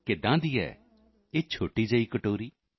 ਕਿਹੀ ਹੈ ਇਹ ਛੋਟੀ ਜਿਹੀ ਕਟੋਰੀ